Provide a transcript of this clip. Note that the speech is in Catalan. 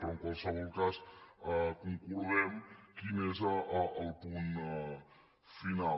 però en qualsevol cas concordem quin és el punt final